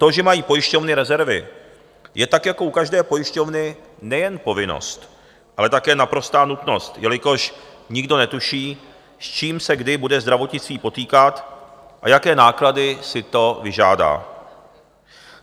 To, že mají pojišťovny rezervy, je tak jako u každé pojišťovny nejen povinnost, ale také naprostá nutnost, jelikož nikdo netuší, s čím se kdy bude zdravotnictví potýkat a jaké náklady si to vyžádá.